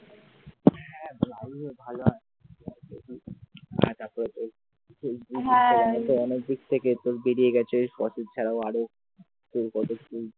আমার দিক থেকে তো বেরিয়ে গেছে ফসিলস ছাড়া আরও কত কি